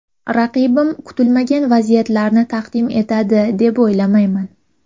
Raqibim kutilmagan vaziyatlarni taqdim etadi, deb o‘ylamayman.